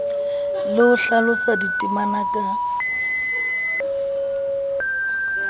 le ho hlalosa ditema ka